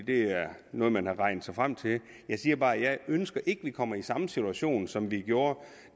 det er noget man har regnet sig frem til jeg siger bare at jeg ikke ønsker at vi kommer i samme situation som vi gjorde